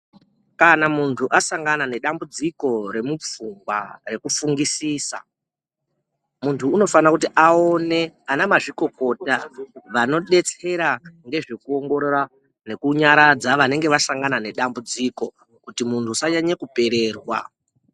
Kana muntu asangana nedambudziko remupfungwa, rekufungisisa. Muntu unofane kuti aone anamazvikokota vanobetsera ngezvekuongorora nekunyaradza vanenge vasangana nedambudziko, kuti munhu usanyanya kupererwa.